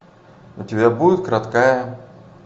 у тебя будет краткая